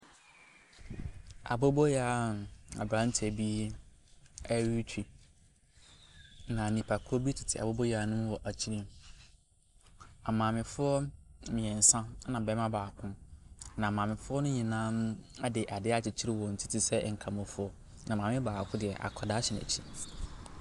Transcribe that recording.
Aboboyaa a abranteɛ bi ɛretwi na nnipakuo bi tete aboboyaa no mu wɔ akyire. Maamefoɔ mmiɛnsa ɛna barima baako na maamefoɔ no nyinaa de adeɛ akyekyere wɔn ti te sɛ nkramofoɔ na maame baako deɛ akwadaa hyɛ n'akyi.